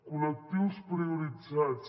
col·lectius prioritzats